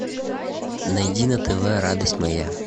найди на тв радость моя